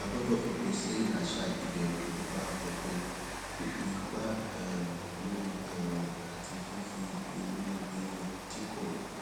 a gbódò fòpin sí àṣà ìbèrù nípa òfin fífi ipá um múni um àti fífi inúnibíni tí kò